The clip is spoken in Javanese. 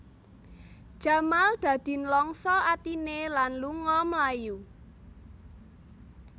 Jamal dadi nlangsa atiné lan lunga mlayu